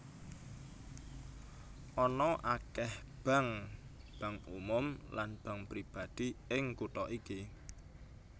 Ana akèh bank bank umum lan bank pribadi ing kutha iki